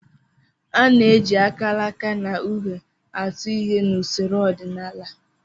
A na-eji akalaka na uhe atụ ihe n'usoro ọdịnala